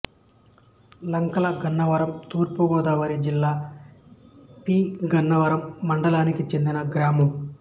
లంకలగన్నవరం తూర్పు గోదావరి జిల్లా పి గన్నవరం మండలానికి చెందిన గ్రామం